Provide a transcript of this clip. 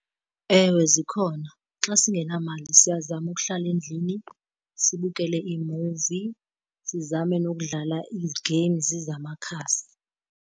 Ewe, zikhona. Xa singenamali siyazama ukuhlala endlini sibukele iimuvi, sizame nokudlala ii-games zamakhasi.